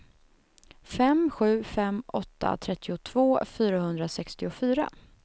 fem sju fem åtta trettiotvå fyrahundrasextiofyra